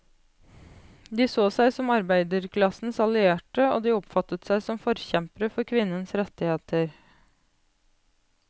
De så seg som arbeiderklassens allierte, og de oppfattet seg som forkjempere for kvinnens rettigheter.